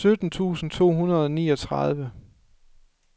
sytten tusind to hundrede og niogtredive